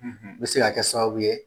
bɛ se ka kɛ sababu ye